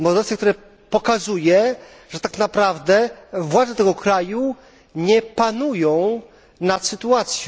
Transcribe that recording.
które pokazuje, że tak naprawdę władze tego kraju nie panują nad sytuacją.